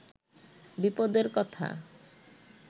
বিপদের কথা